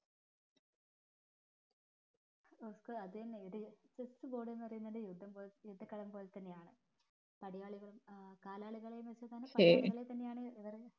അതെന്നെ ഇത് chess board എന്ന് പറയുന്നത് യുദ്ധം പോലെ യുദ്ധ കളം പോലെ തന്നെയാണ് അതായത് പടയാളികളും ആഹ് കാലാളികൾ എന്നുവെച്ച പടയാളികളെ തന്നെയാണ്